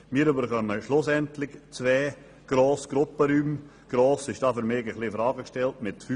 Wir erhalten zwei grosse Gruppenräume, wobei «gross» für mich mit 55 m und 65 m ein bisschen in Frage gestellt ist.